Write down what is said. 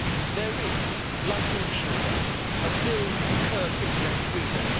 There is like in Cuba a bill to curb internet freedom.